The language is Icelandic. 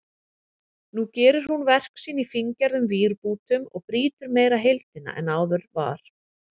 Nú gerir hún verk sín í fíngerðum vírbútum og brýtur meira heildina en áður var.